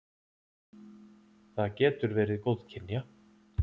Það getur verið góðkynja.